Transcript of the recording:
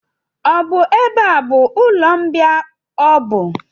Ọ bụ ebe a bụ ụlọmbịa ọbụ?